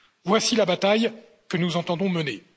Voici la bataille que nous entendons mener.